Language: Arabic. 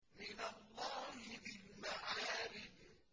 مِّنَ اللَّهِ ذِي الْمَعَارِجِ